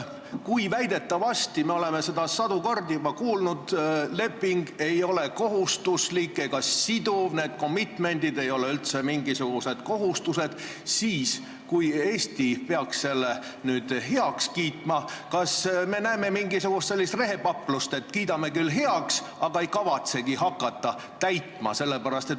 Kui väidetavasti – me oleme seda juba sadu kordi kuulnud – leping ei ole kohustuslik ega siduv, need commitment'id ei ole üldse mingisugused kohustused, ja kui Eesti peaks selle lepingu nüüd heaks kiitma, kas me hakkame nägema siis mingisugust sellist rehepaplust, et kiidame küll heaks, aga ei kavatsegi täitma hakata?